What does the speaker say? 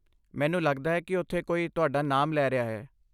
ਮੈਨੂੰ ਲੱਗਦਾ ਹੈ ਕਿ ਉੱਥੇ ਕੋਈ ਤੁਹਾਡਾ ਨਾਮ ਲੈ ਰਿਹਾ ਹੈ।